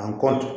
An kɔ